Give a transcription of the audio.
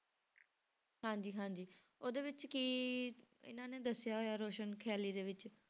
ਹਾਂਜੀ ਹਾਂਜੀ ਉਹਦੇ ਵਿੱਚ ਕੀ ਇਹਨਾਂ ਨੇ ਦੱਸਿਆ ਹੋਇਆ ਰੋਸ਼ਨ ਖ਼ਿਆਲੀ ਦੇ ਵਿੱਚ